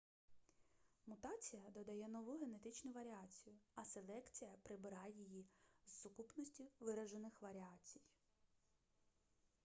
мутація додає нову генетичну варіацію а селекція прибирає її з сукупності виражених варіацій